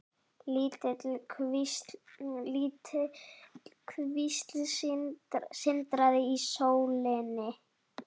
Lítil kvísl sindraði í sólinni.